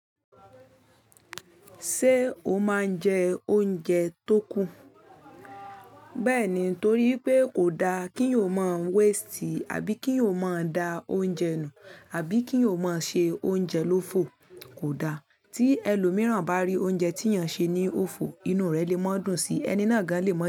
Ṣé o máa ń jẹ oúnjẹ tó kù? Bẹ́ẹ̀ ni, torí pé kò da kí o máa ń waste àbí kí o máa da oúnjẹ nù, àbí kí o máa ṣe oúnjẹ lófo kò da. Tí ẹlòmíràn bá rí oúnjẹ tí èèyàn ṣe ní òfo, inú rẹ̀ lè má dùn sí i, ẹni náà gan lè má.